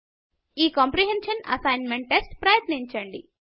ఈ comprehension assignment test ప్రయత్నించండి